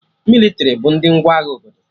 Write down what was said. Mịlịtrị bụ ndị ngwa agha obodo